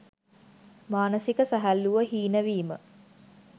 මානසික සැහැල්ලුව හීන වීම